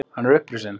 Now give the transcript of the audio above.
Hann er upprisinn!